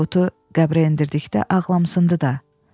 Tabutu qəbrə endirdikdə ağlamışdı da.